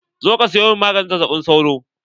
Zo ka siyo min maganin zazzaɓi sauro!